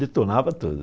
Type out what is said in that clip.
Detonava tudo.